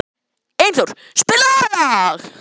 Einþór, spilaðu lag.